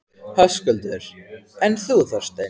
Höskuldur: En þú, Þorsteinn?